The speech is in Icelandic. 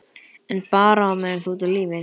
En bara á meðan þú ert á lífi.